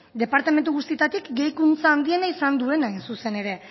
departamentu guztietatik gehikuntza handiena izan duena hain zuzen ere